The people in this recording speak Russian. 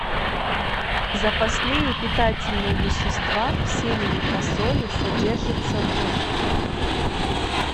запасные питательные вещества в семени фасоли содержится в